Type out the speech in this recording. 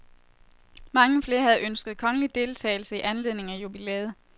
Mange flere havde ønsket kongelig deltagelse i anledning af jubilæet.